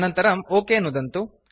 अनन्तरं ओक नुदन्तु